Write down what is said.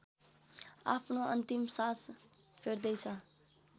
आफ्नो अन्तिम सास फेर्दैछ